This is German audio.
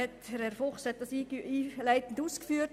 Herr Fuchs hat es einleitend ausgeführt.